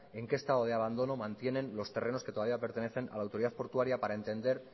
en que estado de abandono mantienen los terrenos que todavía pertenecen a la autoridad portuaria para entender